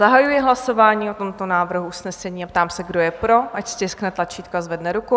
Zahajuji hlasování o tomto návrhu usnesení a ptám se, kdo je pro, ať stiskne tlačítko a zvedne ruku.